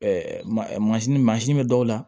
masini mansin bɛ dɔw la